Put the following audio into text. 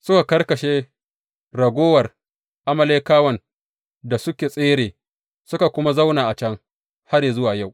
Suka karkashe raguwar Amalekawan da suka tsere, suka kuma zauna a can har yă zuwa yau.